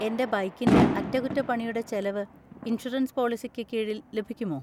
എന്റെ ബൈക്കിന്‍റെ അറ്റകുറ്റപ്പണിയുടെ ചെലവ് ഇൻഷുറൻസ് പോളിസിക്ക് കീഴിൽ ലഭിക്കുമോ?